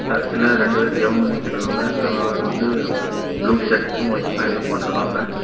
சர்ச்சுல ரெண்டு பேர் ஜெபம் பண்ணிட்டுருக்காங்க ஒரு ஆளு வந்து ப்ளூ ஷர்ட் வைட் பேண்டும் போட்டுருக்காங்க.